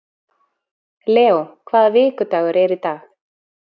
Leo, hvaða vikudagur er í dag?